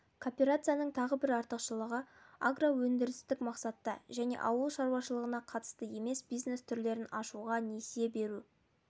кооперацияның тағы бір артықшылығы агроөндірістік мақсатта және ауыл шаруашылығына қатысты емес бизнес түрлерін ашуға несие беру